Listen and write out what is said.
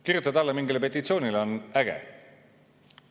Kirjutada alla mingile petitsioonile on äge.